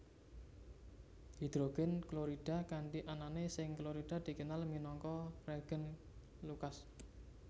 Hidrogen klorida kanthi anané seng klorida dikenal minangka reagen Lucas